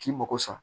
K'i mago sa